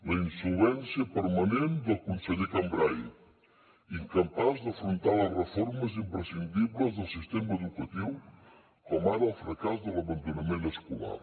la insolvència permanent del conseller cambray incapaç d’afrontar les reformes imprescindibles del sistema educatiu com ara el fracàs de l’abandonament escolar